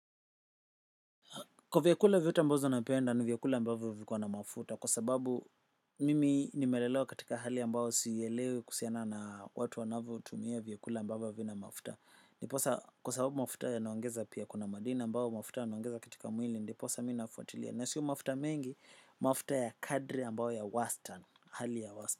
Kwa vyakula vyote ambazo napenda nigekula ambavyo zina mafuta kwa sababu mimi nimelelewa katika hali ambayo sielewi kuhusiana na chakula ambazo havina mafuta. Ndiposa kwa sababu mafuta yanaongeza pia kuna madina ambazo mafuta yanaongeza katika mwili ndiposa mimi nafuatilia. Na siyo mafuta mengi mafuta ya kadri ambazo ya wastani, hali ya wastani.